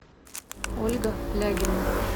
ольга лягина